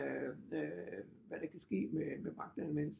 Hvad der kan ske med magtanvendelse